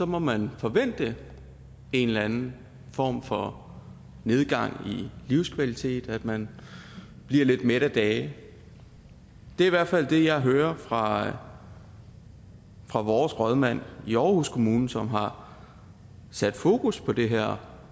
må man forvente en eller anden form for nedgang i livskvalitet at man bliver lidt mæt af dage det er i hvert fald det jeg hører fra fra vores rådmand i aarhus kommune som har sat fokus på det her